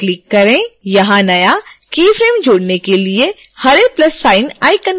यहां नया keyframe जोड़ने के लिए हरे प्लस साइन आइकन पर क्लिक करें